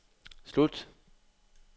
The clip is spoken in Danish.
slut